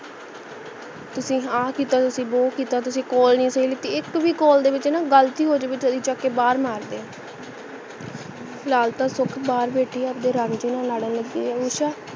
ਤੁਸੀ ਆ ਕੀਤਾ ਤੁਸੀ ਉਹ ਕੀਤਾ ਤੁਸੀ call ਨਹੀਂ ਸਹੀ ਲੀਤੀ ਇਕ ਭੀ call ਦੇ ਵਿੱਚ ਨਾ ਗਲਤੀ ਹੋਜਵੇ ਤਾਂ ਚੱਕ ਕਰ ਬਾਹਰ ਮਾਰਦੇ ਹੈ ਫਿਲਹਾਲ ਤਾਂ ਸੁਖ ਬਾਹਰ ਬੈਠੀ ਹੈ ਆਪਣੇ ਰਾਂਝੇ ਨਾਲ ਲੜਨ ਲਗੀ ਹੈ usha